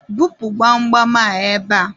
bupu gbamgbam a ebe a!